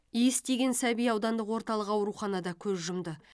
иіс тиген сәби аудандық орталық ауруханада көз жұмды